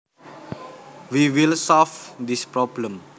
We will solve this problem